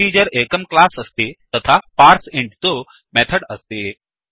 integer एकं class अस्ति तथा पार्सेइंट तु एकं मेथड् अस्ति